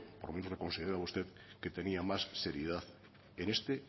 por lo menos yo consideraba que usted tenía más seriedad en este